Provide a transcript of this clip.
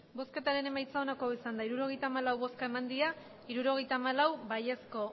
emandako botoak hirurogeita hamalau bai hirurogeita hamalau